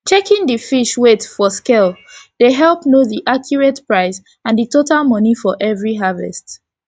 checking the fish weight for scale dey help know the accurate price and the total money for every harvest